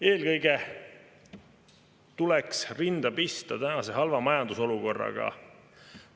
Eelkõige tuleks rinda pista tänase halva majandusolukorraga.